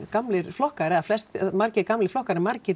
gamlir flokkar eða flestir margir gamlir flokkar en margir